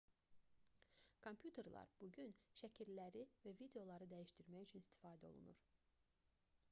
kompüterlər bu gün şəkilləri və videoları dəyişdirmək üçün istifadə olunur